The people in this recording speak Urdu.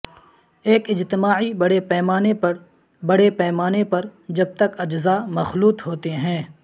ایک اجتماعی بڑے پیمانے پر بڑے پیمانے پر جب تک اجزاء مخلوط ہوتے ہیں